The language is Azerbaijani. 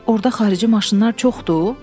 Orda xarici maşınlar çoxdur?